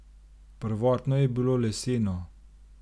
Prvotno je bilo leseno.